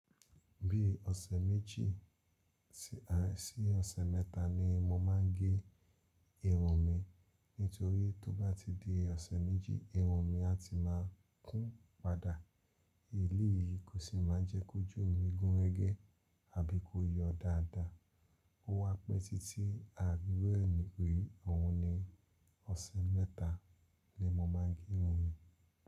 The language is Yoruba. Bí ọ̀sẹ̀ méjì sí ọ̀sẹ̀ mẹ́ta ni mo máa ń gé irun mi. Nítorí tó bá ti di ọ̀sẹ̀ méjì irun mi a ti máa kún padà. Èléyìí kò sì máa ń jẹ́ kójù mí gúnrégé àbí kó yọ dáadáa. Ó wá pẹ́ títí àari iru e ri, oun ni ọ̀sẹ̀ mẹ́ta ni mo máa ń gé irun mi.